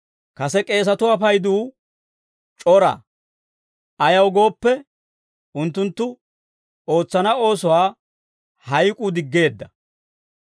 Kase k'eesatuwaa payduu c'ora; ayaw gooppe, unttunttu ootsana oosuwaa hayk'uu diggeedda.